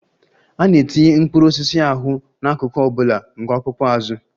A na-etinye mkpụrụ osisi ahụ n'akụkụ ọ bụla nke ọkpụkpụ azụ.